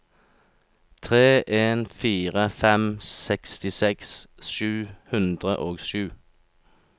tre en fire fem sekstiseks sju hundre og sju